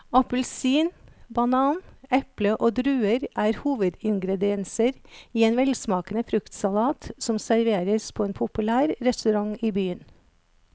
Appelsin, banan, eple og druer er hovedingredienser i en velsmakende fruktsalat som serveres på en populær restaurant i byen.